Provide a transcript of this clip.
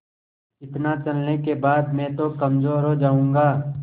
इतना चलने के बाद मैं तो कमज़ोर हो जाऊँगा